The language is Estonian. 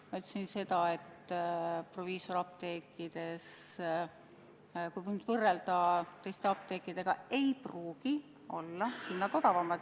Ma ütlesin seda, et proviisoriapteekides, kui võrrelda teiste apteekidega, ei pruugi hinnad odavamad olla.